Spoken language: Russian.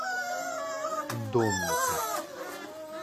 домников